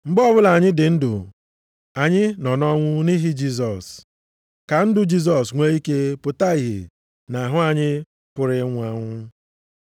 Mgbe ọbụla anyị dị ndụ, anyị nọ nʼọnwụ nʼihi Jisọs, ka ndụ Jisọs nwee ike pụta ìhè nʼahụ anyị pụrụ ịnwụ anwụ.